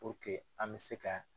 an bɛ se ka